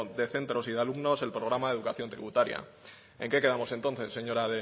de centros y de alumnos el programa educación tributaria en qué quedamos entonces señora